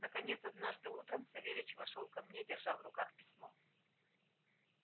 наконец однажды утром савельич вошёл ко мне держа в руках письмо